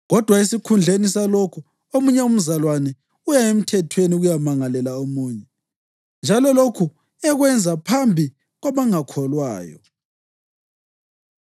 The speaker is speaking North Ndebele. Kodwa esikhundleni salokho, omunye umzalwane uya emthethweni ukuyamangalela omunye, njalo lokhu ekwenza phambi kwabangakholwayo!